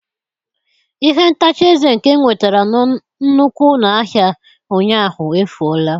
Ihe ntacha eze nke m nwetara na nnukwu ụlọ ahịa ụnyaahụ, efuola.